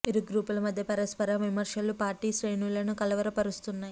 ఇరు గ్రూపుల మధ్య పరస్పర విమర్శలు పార్టీ శ్రేణులను కలవర పరుస్తున్నాయి